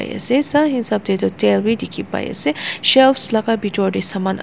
ase sah hisab teh tu tel bhi dikhi pai se shelves laga bitor teh saman.